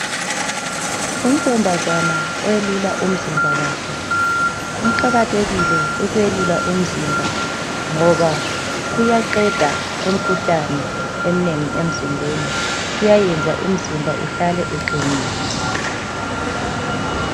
Untombazana oyelula umzimba wakhe. Kuqakathekile ukwelula umzimba ngoba kuyaqeda imikhuhlane eminengi emzimbeni .Kuyayenza umzimba uhlale uqinile.